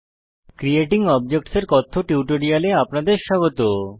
creating objects এর কথ্য টিউটোরিয়ালে আপনাদের স্বাগত